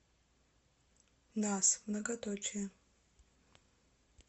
нас многоточие